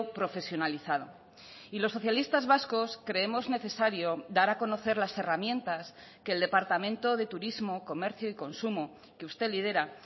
profesionalizado y los socialistas vascos creemos necesario dar a conocer las herramientas que el departamento de turismo comercio y consumo que usted lidera